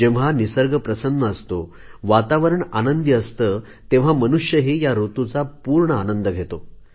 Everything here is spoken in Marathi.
जेव्हा निसर्ग प्रसन्न असतो वातावरण आनंदी असते तेव्हा मनुष्यही या ऋतूचा पूर्ण आनंद घेतो